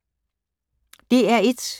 DR1